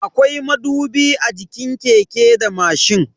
Akwai madubi a jikin keke da mashin.